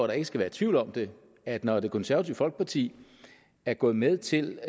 der ikke skal være tvivl om det at når det konservative folkeparti er gået med til